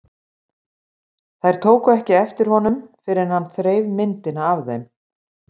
Þær tóku ekki eftir honum fyrr en hann þreif myndina af þeim.